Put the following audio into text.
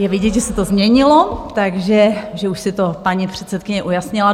Je vidět, že se to změnilo, takže už si to paní předsedkyně ujasnila.